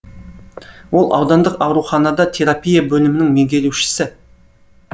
ол аудандық ауруханада терапия бөлімінің меңгерушісі